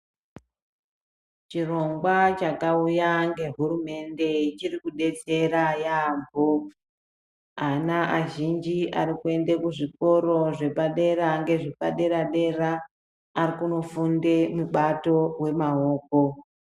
Chirongwa chakauya ngehurumende chirikudetsera yaambo ana azhinji aarikuenda kuzvikoro zvepadera ngezvepadera arikunofunde mubato wemaoko.